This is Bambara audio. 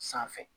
Sanfɛ